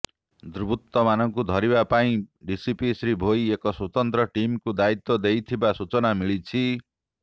ଦୁର୍ବୃତ୍ତମାନଙ୍କୁ ଧରିବା ପାଇଁ ଡିସିପି ଶ୍ରୀ ଭୋଇ ଏକ ସ୍ୱତନ୍ତ୍ର ଟିମ୍କୁ ଦାୟିତ୍ୱ ଦେଇଥିବା ସୂଚନା ମିଳିଛି